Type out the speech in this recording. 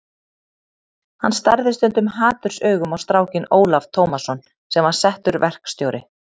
Hann starði stundum hatursaugum á strákinn Ólaf Tómasson sem var settur verkstjóri.